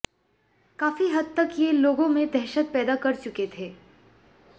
काफी हद तक ये लोगों में दहशत पैदा कर चुके थे